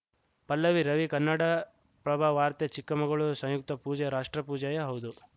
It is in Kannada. ಪಲ್ಲವಿ ರವಿ ಕನ್ನಡಪ್ರಭ ವಾರ್ತೆ ಚಿಕ್ಕಮಗಳೂರು ಸಂಯುಕ್ತ ಪೂಜೆ ರಾಷ್ಟ್ರಪೂಜೆಯೂ ಹೌದು